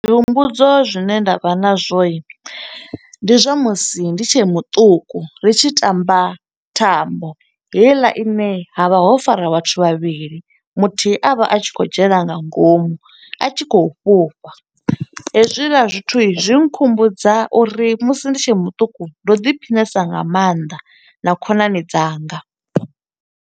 Zwi humbudzo zwine nda vha na zwo, ndi zwa musi ndi tshe muṱuku. Ri tshi tamba thambo, heiḽa ine ha vha ho fara vhathu vhavhili, muthihi a vha a tshi khou dzhena nga ngomu, a tshi khou fhufha. Hezwiḽa zwithu zwi khumbudza uri musi ndi tshe muṱuku, ndo ḓi phiṋesa nga maanḓa na khonani dzanga.